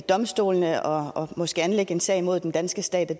domstolene og måske anlægge en sag mod den danske stat